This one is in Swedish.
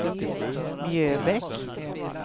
Mjöbäck